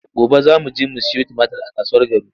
Gobe za mu je mu sayo tumatir a kasuwar Garu.